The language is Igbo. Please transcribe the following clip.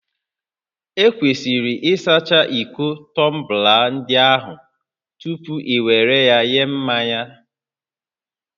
Ekwesịrị ịsacha iko tọmbla ndị ahụ tupu ị were ya nye mmanya